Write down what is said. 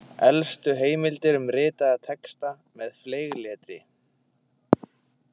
Elstu heimildir um ritaða texta með fleygletri.